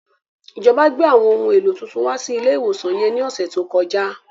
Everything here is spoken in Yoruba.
Ìjọba gbé àwọn ohun èlò tuntun wá sí ilé ìwòsan yẹn ní ọ̀sẹ̀ tó kọjá